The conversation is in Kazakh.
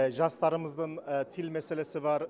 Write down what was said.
жастарымыздың тил мәселесі бар